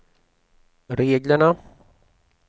reglerna